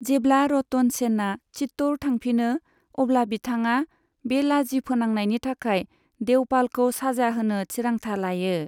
जेब्ला रतन सेनआ चित्तौड़ थांफिनो अब्ला बिथांआ बे लाजि फोनांनायनि थाखाय देवपालखौ साजा होनो थिरांथा लायो।